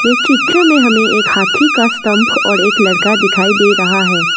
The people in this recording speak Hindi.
इस चित्र में हमें एक हाथी का स्तंभ और एक लड़का दिखाई दे रहा है।